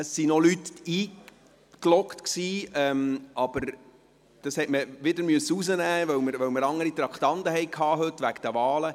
Es waren noch Leute in die Rednerliste eingetragen, aber diese musste man wieder rausnehmen, weil wir heute wegen der Wahlen andere Traktanden hatten.